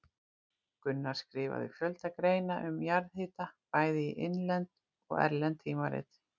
Gunnar skrifaði fjölda greina um jarðhita bæði í innlend og erlend tímarit.